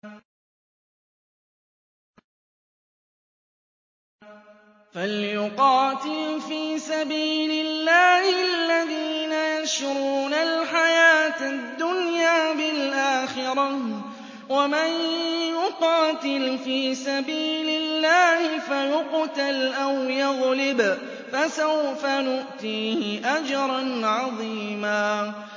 ۞ فَلْيُقَاتِلْ فِي سَبِيلِ اللَّهِ الَّذِينَ يَشْرُونَ الْحَيَاةَ الدُّنْيَا بِالْآخِرَةِ ۚ وَمَن يُقَاتِلْ فِي سَبِيلِ اللَّهِ فَيُقْتَلْ أَوْ يَغْلِبْ فَسَوْفَ نُؤْتِيهِ أَجْرًا عَظِيمًا